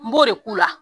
N b'o de k'u la